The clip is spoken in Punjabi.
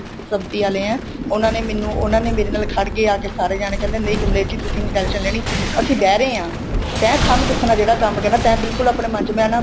ਸੰਪਤੀ ਆਲੇ ਹੈ ਉਹਨਾ ਨੇ ਮੈਂਨੂੰ ਉਹਨਾ ਨੇ ਮੇਰੇ ਨਾਲ ਖੜਗੇ ਆ ਗਏ ਸਾਰੇ ਜਾਣੇ ਕਹਿੰਦੇ ਨਹੀਂ ਕਮਲੇਸ਼ ਜੀ ਤੁਸੀਂ ਨਹੀਂ tension ਲੈਣੀ ਅਸੀਂ ਬੈਰੇ ਹਾਂ ਤੇ ਸਾਨੂੰ ਦੱਸਣਾ ਜਿਹੜਾ ਕੰਮ ਕਹਿੰਦੇ ਤੇ ਬਿਲਕੁਲ ਆਪਣੇ ਮਨ ਚ ਮੈਂ ਨਾ